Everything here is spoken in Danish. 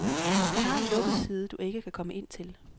Hun har en lukket side, du ikke kan komme ind til.